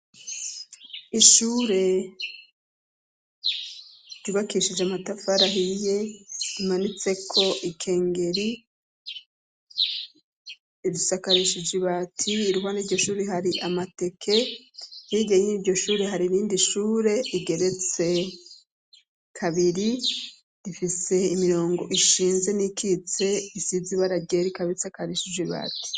Ishure, ryubakishije amatafari ahiye rimanitseko ikengeri. Risakarishije ibati, iruhande yiryo shure hari amateke. Hirya y'iryo shure hari irindi shure rigeretse kabiri, rifise imirongo ishinze n'iyikitse isize ibara ryera ikaba isakarishije ibati.